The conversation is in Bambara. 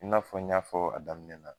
I n'a fɔ n y'a fɔ a daminɛ na